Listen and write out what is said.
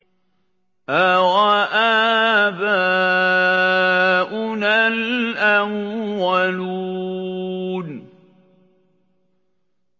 أَوَآبَاؤُنَا الْأَوَّلُونَ